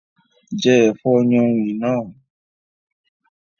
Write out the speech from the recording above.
Jẹ́ ẹ̀fọ́ yánrin náà